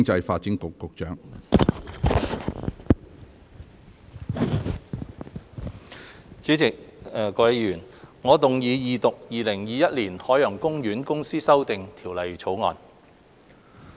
主席、各位議員，我動議二讀《2021年海洋公園公司條例草案》。